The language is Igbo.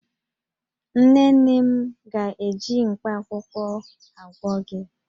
Nne nne m ga-eji mkpaakwụkwọ agwọ gi